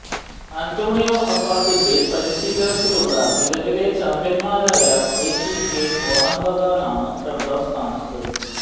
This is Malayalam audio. അന്റോണിയോ ഹബ്ബാസിന്റെ പരിശീലനത്തിലുള്ള നിലവിലെ ചാമ്പ്യൻമാരായ എറ്റികെ മോഹൻബഗാനാണ് രണ്ടാം സ്ഥാനത്ത്